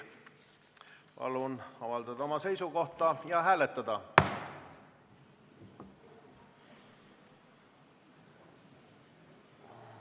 Palun avaldada oma seisukoht ja hääletada!